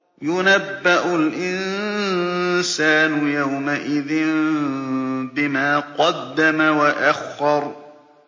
يُنَبَّأُ الْإِنسَانُ يَوْمَئِذٍ بِمَا قَدَّمَ وَأَخَّرَ